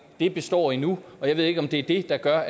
det består endnu jeg ved ikke om det er det der gør